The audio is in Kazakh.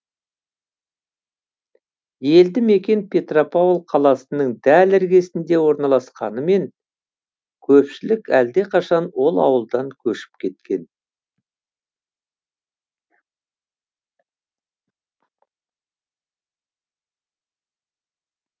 елді мекен петропавл қаласының дәл іргесінде орналасқанымен көпшілік әлдеқашан ол ауылдан көшіп кеткен